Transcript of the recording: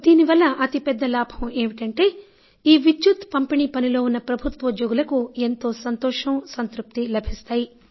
దీనివల్ల అతి పెద్ద లాభం ఏమిటంటే ఈ విద్యుత్ పంపిణీ పనిలో ఉన్న ప్రభుత్వోద్యోగులకు ఎంతో సంతోషం సంతృప్తి లభిస్తుంది